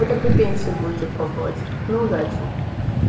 тогда до пенсии будете пробовать ну удачи